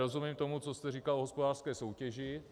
Rozumím tomu, co jste říkal o hospodářské soutěži.